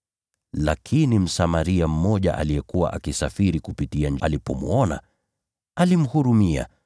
Lakini Msamaria mmoja aliyekuwa akisafiri alipomwona, alimhurumia.